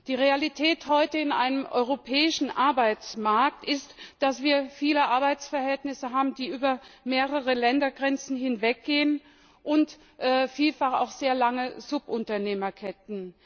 Die Realität heute in einem europäischen Arbeitsmarkt ist, dass wir viele Arbeitsverhältnisse haben, die über mehrere Ländergrenzen hinweggehen, und vielfach auch sehr lange Subunternehmerketten.